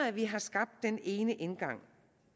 at vi har skabt den ene indgang